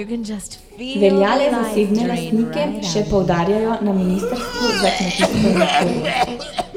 Velja le za zasebne lastnike, še poudarjajo na ministrstvu za kmetijstvo in okolje.